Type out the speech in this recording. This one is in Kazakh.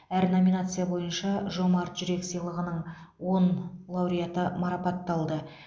әр номинация бойынша жомарт жүрек сыйлығының он лауреаты марапатталды